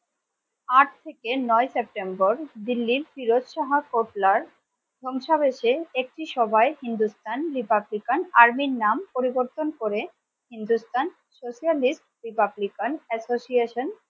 আট থেকে নয় সেপ্টেম্বর দিল্লির ফিরোজ শাহ কোটলার সংসা বেঁচে একটি সভায় Hindusthan Republican Army র নাম পরিবর্তন করে Hindusthan socialist republican association